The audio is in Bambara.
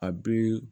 A bɛ